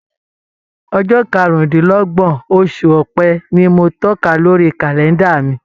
Ọjọ́ karùndínlọ́gbọ̀n oṣù ọ̀pẹ ni mo tóka lórí kàlẹ́ndà mi.